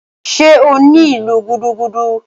Ṣé o ní ìlù gúdúgúdú?